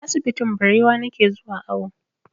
Asibitin Barewa na ke zuwa awo